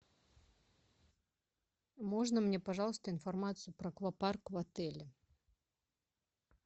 можно мне пожалуйста информацию про аквапарк в отеле